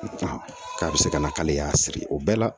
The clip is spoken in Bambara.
K'a bɛ se ka na k'ale y'a siri o bɛɛ la